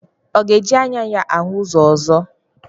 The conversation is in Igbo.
Ọ ga-eji anya ya ahụ ụzọ ọzọ?